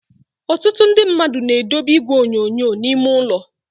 Ọtụtụ ndị mmadụ na edobe igwe onyonyo n'ime ụlọ.